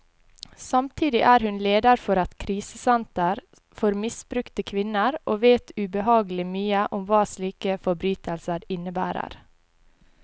Samtidig er hun leder for et krisesenter for misbrukte kvinner, og vet ubehagelig mye om hva slike forbrytelser innebærer.